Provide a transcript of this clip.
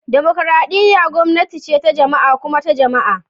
Dimokuradiyya gwamnati ce ta jama'a kuma ta jama'a